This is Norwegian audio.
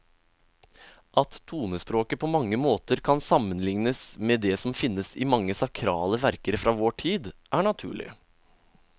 At tonespråket på mange måter kan sammenlignes med det som finnes i mange sakrale verker fra vår tid, er naturlig.